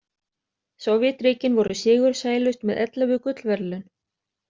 Sovétríkin voru sigursælust með ellefu gullverðlaun.